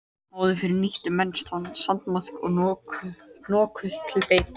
Áður fyrr nýttu menn sandmaðk nokkuð til beitu.